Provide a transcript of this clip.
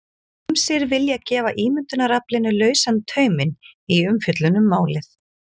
Ýmsir vilja gefa ímyndunaraflinu lausan tauminn í umfjöllun um málið.